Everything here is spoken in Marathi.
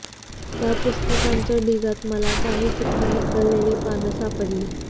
त्या पुस्तकांच्या ढिगात मला काही सुटी निखळलेली पानं सापडली